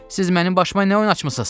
Siz mənim başıma nə oyun açmısınız?